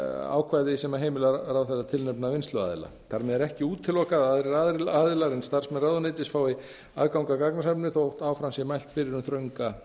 ákvæði sem heimila ráðherra að tilnefna vinnsluaðila þar með er ekki útilokað að aðrir aðilar en starfsmenn ráðuneytisins fái aðgang að gagnasafninu þótt áfram sé mælt fyrir um þrönga